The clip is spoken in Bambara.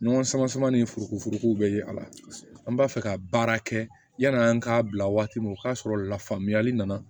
Ɲɔgɔn sama sama ni foroko bɛ ye a la an b'a fɛ ka baara kɛ yanni an k'a bila waati min o y'a sɔrɔ la faamuyali nana